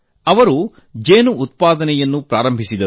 ಅವರು ಜೇನು ಉತ್ಪಾದನೆ ಆರಂಭಿಸಿದರು